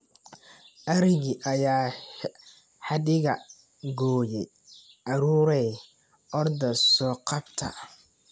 Arigii ayaa xadhiga gooyay caruurey orda oo so qabta.